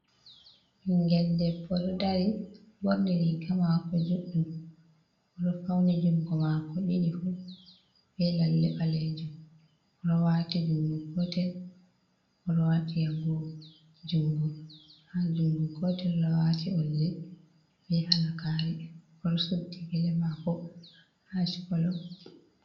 Ɓinngel debo ɗo dari, ɓorni riga maako juɗɗum, o ɗo fawni junngo maako ɗiɗi fuuh be lalle baleejum, o ɗo waati junngo gootel, o ɗo waati agoogo junngo, haa junngo gootel o waati oldi be halagaɗre, o ɗo suddi gele maako haa ash kolo.